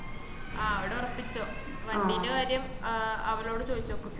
ആഹ് അവട ഒറപ്പിച്ചോ വണ്ടിന്റെ കാര്യം അവരോട്‌ ചോദിച്ചോക്ക്